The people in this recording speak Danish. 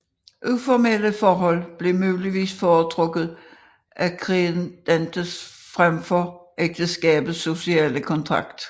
Uformelle forhold blev muligvis foretrukket af credentes frem for ægteskabets sociale kontrakt